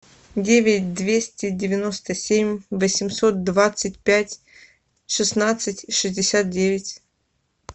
девять двести девяносто семь восемьсот двадцать пять шестнадцать шестьдесят девять